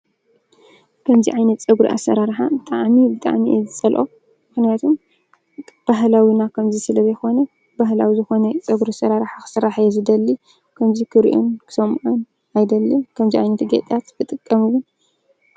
ከምዚ ዓይነት ፀጉሪ ኣሰራርሓ ብጣዕሚ ብጣዕሚ እየ ዝፀልኦ። ምክንያቱም ባህላዊና ከምዚ ስለ ዘይኮነ ባህላዊ ዝኮነ ፀጉሪ ኣሰራርሓ ክስሮሖ እየ ዝደሊ። ከምዚ ክሪኦን ክሰምዖን አይደልን። ከምዚ ዓይነት ጌጣት ክጥቀም እዉን?